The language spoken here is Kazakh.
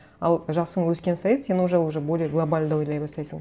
ал жасың өскен сайын сен уже более глобально ойлай бастайсың